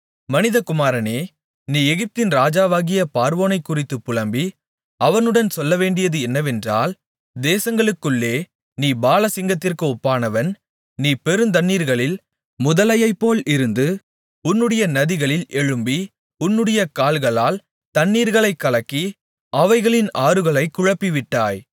மனிதகுமாரனே நீ எகிப்தின் ராஜாவாகிய பார்வோனைக்குறித்துப் புலம்பி அவனுடன் சொல்லவேண்டியது என்னவென்றால் தேசங்களுக்குள்ளே நீ பாலசிங்கத்திற்கு ஒப்பானவன் நீ பெருந்தண்ணீர்களில் முதலையைப்போல் இருந்து உன்னுடைய நதிகளில் எழும்பி உன்னுடைய கால்களால் தண்ணீர்களைக் கலக்கி அவைகளின் ஆறுகளைக் குழப்பிவிட்டாய்